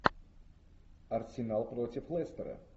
арсенал против лестера